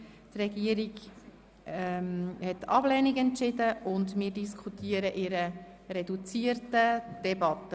Die Regierung empfiehlt sie zur Ablehnung, und wir diskutieren in reduzierter Debatte.